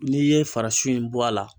N'i ye faraso in bɔ a la.